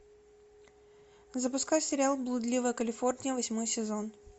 запускай сериал блудливая калифорния восьмой сезон